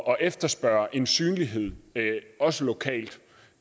efterspørge en synlighed også lokalt